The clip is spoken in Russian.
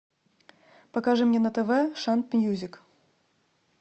покажи мне на тв шант мьюзик